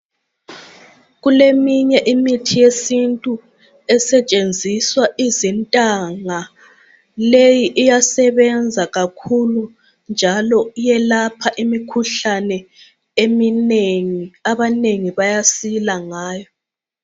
Kuleminye imithi yesintu esetshenziswa izintanga leyi iyasebenza kakhulu njalo iyelapha kakhulu imikhuhlane eminengi njalo abanengi bayasila ngayo